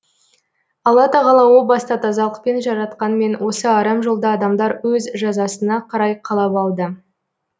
алла тағала о баста тазалықпен жаратқанмен осы арам жолды адамдар өз жазасына қарай қалап алды